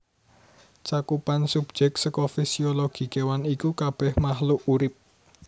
Cakupan subjek saka fisiologi kéwan iku kabèh makhluk urip